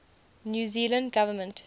new zealand government